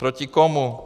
Proti komu?